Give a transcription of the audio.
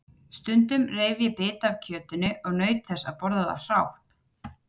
Stundum reif ég bita af kjötinu og naut þess að borða það hrátt.